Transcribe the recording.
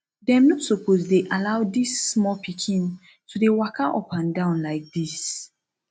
dem no suppose dey allow dis small pikin to dey waka up and down like dis